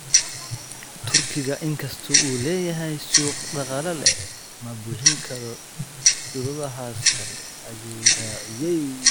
Turkiga, inkastoo uu leeyahay suuq dhaqaale, ma buuxin karo shuruudahaas kale, ayuu raaciyay.